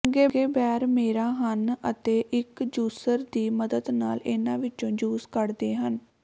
ਚੰਗੇ ਬੈਰ ਮੇਰਾ ਹਨ ਅਤੇ ਇਕ ਜੂਸਰ ਦੀ ਮਦਦ ਨਾਲ ਇਨ੍ਹਾਂ ਵਿੱਚੋਂ ਜੂਸ ਕੱਢਦੇ ਹਨ